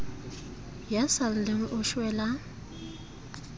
ya sa lleng o shwela